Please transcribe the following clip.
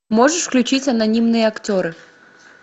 можешь включить анонимные актеры